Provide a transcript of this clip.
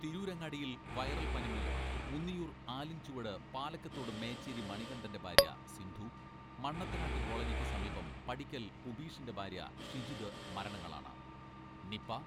തിരൂരങ്ങാടിയിൽ viral പനിമൂലം മൂന്നിയൂർ ആലിൻചുവട് പാലക്കത്തോടു മേച്ചേരി മണികണ്ഠന്റെ ഭാര്യ സിന്ധു, മണ്ണത്തനാട്ടുകോളനിക്ക് സമീപം പടിക്കൽ ഉബീഷിന്റെ ഭാര്യ ഷിജിത് മരണങ്ങളാണ് നിപ